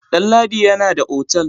Damladi yana da otal.